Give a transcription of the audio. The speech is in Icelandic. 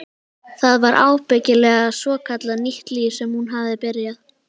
Það var ábyggilega svokallað nýtt líf sem hún hafði byrjað.